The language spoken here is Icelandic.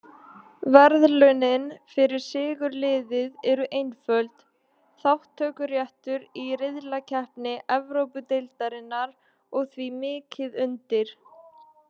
Verðlaunin fyrir sigurliðið eru einföld, þátttökuréttur í riðlakeppni Evrópudeildarinnar og því mikið undir.